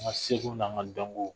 An ka seko n'an ka dɔnko